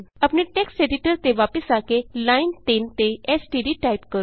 ਆਪਣੇ text editor ਤੇ ਵਾਪਸ ਆ ਕੇ ਲਾਈਨ 3 ਤੇ ਐਸਟੀਡੀ ਟਾਈਪ ਕਰੋ